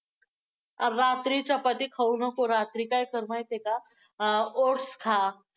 अं रात्री चपाती खाऊ नको, रात्री काय कर माहितेय का? oats खा!